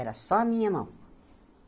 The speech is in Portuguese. Era só a minha mão.